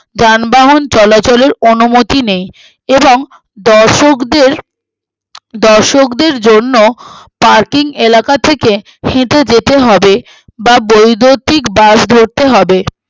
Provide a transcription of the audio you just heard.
যানবাহন চলাচলের অনুমতি নেই এবং দর্শকদের আহ দর্শকদের জন্য parking এলাকা থেকে সিধা যেতে হবে বা বৈদ্যুতিক bus ধরতে হবে